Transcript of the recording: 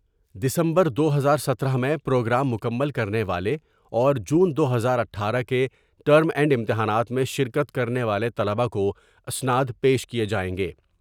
دسمبر دو ہزار ستارہ میں پروگرام مکمل کر نے والے اور جون دو ہزار اٹھارہ کے ٹرم اینڈ امتحانات میں شرکت کر نے والے طلبا کو اسناد پیش کیے جائیں گے ۔